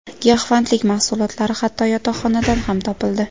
Giyohvandlik mahsulotlari hatto yotoqxonadan ham topildi.